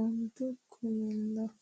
ontu kuminna.